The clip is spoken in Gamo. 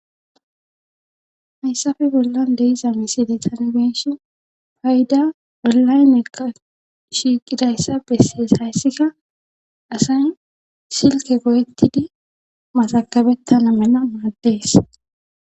hayssafe bollan deiza miside tangeeshi payda bollayneqa shiiqidayssa bessees hayssika asay silke go7ettidi masakabettana mena maaddees